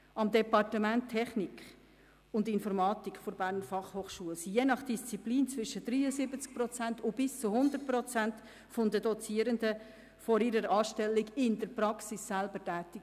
Am Departement Technik und Informatik der BFH waren je nach Disziplin zwischen 73 und 100 Prozent der Dozierenden vorher in der Praxis tätig.